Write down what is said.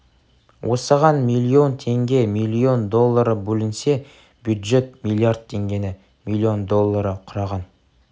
осыған миллион теңге миллион доллары бөлінсе бюджет миллиард теңгені миллион доллары құраған